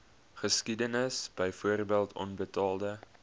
geskiedenis byvoorbeeld onbetaalde